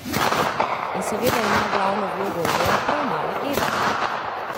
In seveda ima glavno vlogo v njem prav mala Eva.